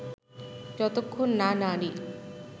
যতক্ষণ না নারী